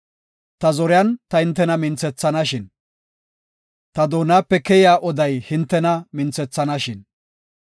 Ta zoriyan ta hintena minthethanashin! Ta doonape keyiya oday hintena minthethanashin!